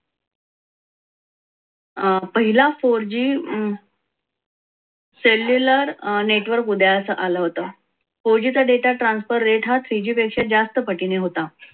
अं पहिला four g celular network उदयास आलं होतं four g चा data transfer rate हा three g पेक्षा जास्त पटीने होता.